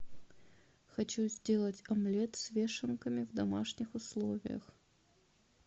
хочу сделать омлет с вешенками в домашних условиях